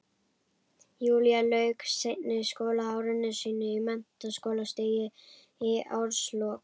Júlía lauk seinna skólaári sínu á menntaskólastigi í árslok